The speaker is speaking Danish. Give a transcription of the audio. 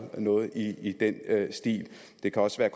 noget i i den stil det kan også være